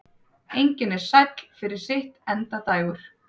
Engin er sæll fyrir sitt endadægur.